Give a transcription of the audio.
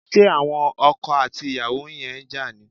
Ṣé àwon okò àti ìyàwó yen n ja ni?